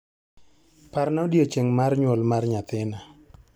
Parna odiechieng' mar nyuol mar nyathina.